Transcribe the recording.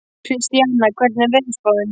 Kristíana, hvernig er veðurspáin?